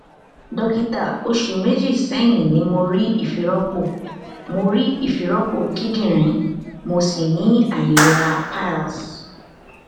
dókítà oṣù méjì sẹyìn ni mo rí ifiropo mo rí ifiropo kindinrin mo sì ni ailera piles